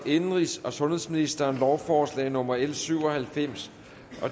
indenrigs og sundhedsministeren lovforslag nummer l syv og halvfems